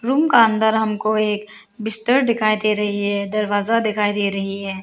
Room का अंदर हमको एक बिस्तर दिखाई दे रही है दरवाजा दिखाई दे रही है।